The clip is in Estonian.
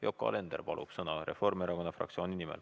Yoko Alender palub sõna Reformierakonna fraktsiooni nimel.